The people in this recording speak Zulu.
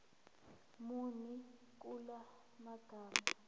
muni kula magama